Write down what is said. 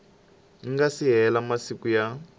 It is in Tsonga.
nga si hela masiku ya